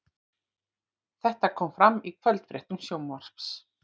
Þetta kom fram í kvöldfréttum Sjónvarpsins